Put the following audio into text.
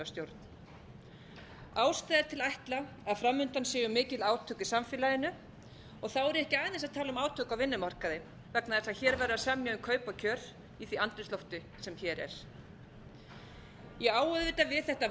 velferðarstjórn ástæða er til að ætla að framundan séu mikil átök í samfélaginu og þá er ég ekki aðeins að tala um átök á vinnumarkaði vegna þess að hér er verið að semja um kaup og kjör í því andrúmslofti sem hér er ég á auðvitað við þetta